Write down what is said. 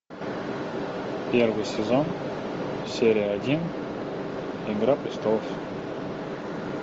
первый сезон серия один игра престолов